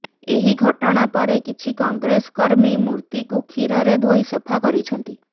ଏହି ଘଟଣାପରେ କିଛି କଂଗ୍ରେସକର୍ମୀ ମୂର୍ତ୍ତିକୁ କ୍ଷୀରରେ ଧୋଇ ସଫା କରିଛନ୍ତି